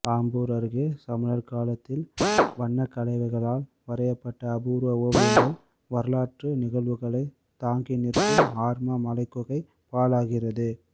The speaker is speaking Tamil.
ஆம்பூர் அருகே சமணர் காலத்தில் வண்ணக்கலவைகளால் வரையப்பட்ட அபூர்வ ஓவியங்கள் வரலாற்று நிகழ்வுகளை தாங்கி நிற்கும் ஆர்மா மலைக்குகை பாழாகிறது